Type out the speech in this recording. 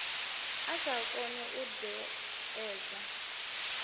a sa koni u ṋekedza